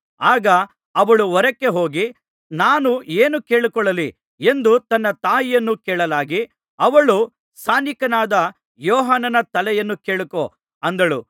ಆಗ ಅವಳು ಹೊರಕ್ಕೆ ಹೋಗಿ ನಾನು ಏನು ಕೇಳಿಕೊಳ್ಳಲಿ ಎಂದು ತನ್ನ ತಾಯಿಯನ್ನು ಕೇಳಲಾಗಿ ಅವಳು ಸ್ನಾನಿಕನಾದ ಯೋಹಾನನ ತಲೆಯನ್ನು ಕೇಳಿಕೋ ಅಂದಳು